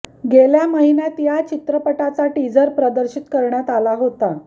गेल्या महिन्यात या चित्रपटाचा टीझर प्रदर्शित करण्यात आला होता